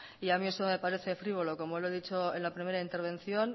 y a mí eso me parece frívolo como lo he dicho en la primera intervención